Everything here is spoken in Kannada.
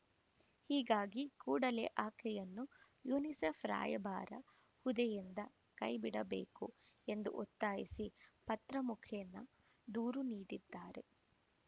ಹೀಗಾಗಿ ಕೂಡಲೇ ಆಕೆಯನ್ನು ಯುನಿಸೆಫ್‌ ರಾಯಭಾರಿ ಹುದ್ದೆಯಿಂದ ಕೈಬಿಡಬೇಕು ಎಂದು ಒತ್ತಾಯಿಸಿ ಪತ್ರ ಮುಖೇನ ದೂರು ನೀಡಿದ್ದಾರೆ